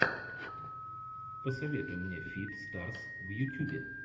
посоветуй мне фит старс в ютюбе